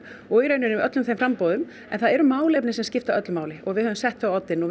og í rauninni öllum þeim framboðum en það eru málefnin sem skipta öllu máli og við höfum sett þau á oddinn og